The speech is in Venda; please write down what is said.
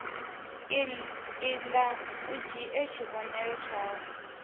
iḓa u dzhie tshivhonelo tshau